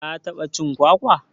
ka taɓa cin kwakwa?